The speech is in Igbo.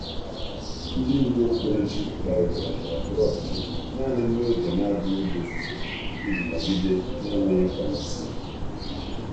Ndị ndú okpukperechi kparịtara ndọrọ ndọrọ ọchịchị naanị n’oge na-abụghị oge ofufe iji nọgide na-enweghị kọmitii.